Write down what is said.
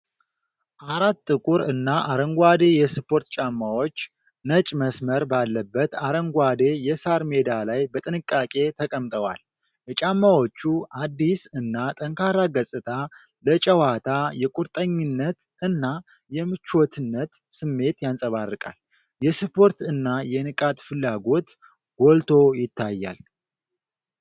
አራት ጥቁር እና አረንጓዴ የስፖርት ጫማዎች ነጭ መስመር ባለበት አረንጓዴ የሣር ሜዳ ላይ በጥንቃቄ ተቀምጠዋል። የጫማዎቹ አዲስ እና ጠንካራ ገጽታ ለጨዋታ የቁርጠኝነት እና የምቾትነት ስሜት ያንጸባርቃል። የስፖርት እና የንቃት ፍላጎት ጎልቶ ይታያል።